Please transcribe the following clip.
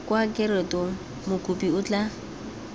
kwa rekotong mokopi o tla